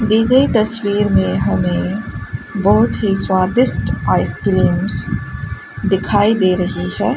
दी गई तस्वीर में हमें बहोत ही स्वादिष्ट आइसक्रीम्स दिखाई दे रही है।